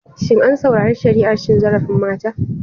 Shin an saurari shari'ar cin zarafin mata?